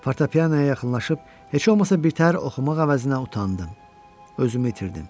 Fortepianoya yaxınlaşıb heç olmasa betər oxumaq əvəzinə utandım, özümü itirdim.